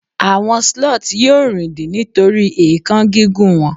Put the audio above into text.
àwọn sloth yíò rindin nitori èékán gígùn wọn